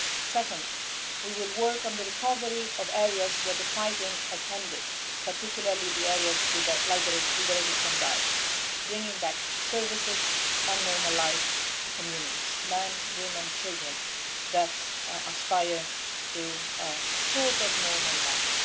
Second, we will work on the recovery of areas where the fighting has ended, particularly the areas liberated from Daesh, bringing back services and normal life to communities, men, women and children, that aspire to a sort of normal life.